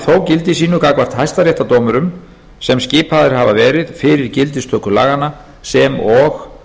gildi sínu gagnvart hæstaréttardómurum sem skipaðir hafa verið fyrir gildistöku laganna sem og